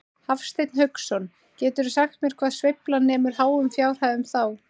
Hafsteinn Hauksson: Geturðu sagt mér hvað sveiflan nemur háum fjárhæðum þá?